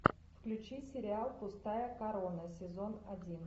включи сериал пустая корона сезон один